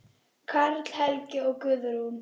Karl Helgi og Guðrún.